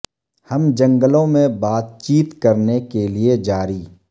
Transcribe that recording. ہم جنگلوں میں بات چیت کرنے کے لئے جاری